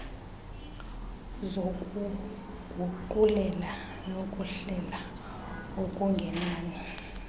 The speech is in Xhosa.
zokuguqulela nokuhlela okungenani